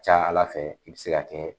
Ca Ala fɛ ,i bi se ka kɛ